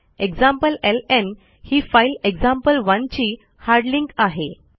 एक्झाम्प्लेलं ही फाईल एक्झाम्पल1 ची हार्ड लिंक आहे